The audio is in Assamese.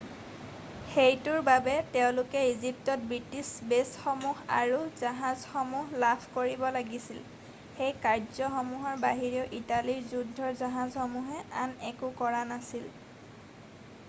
সেইটোৰ বাবে তেওঁলোকে ইজিপ্তত ব্ৰিটিছ বেছসমূহ আৰু জাহাজসমূহ লাভ কৰিব লাগিছিল সেই কাৰ্য্যসমূহৰ বাহিৰেও ইটালীৰ যুদ্ধৰ জাহাজসমূহে আন একো কৰা নাছিল